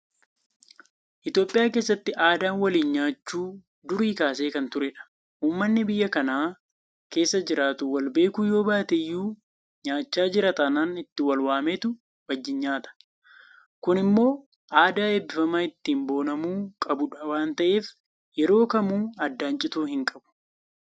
Itoophiyaa keessatti aadaan waliin nyaachuu durii kaasee kan turedha. Uummanni biyya kana keessa jiraatu walbeekuu yoobaateyyuu nyaachaa jira taanaan itti wal waameetu wajjin nyaata. Kun immoo aadaa eebbifamaa ittiin boonamuu qabudha waanta ta'eef yeroo kamuu addaan cituu hin qabu.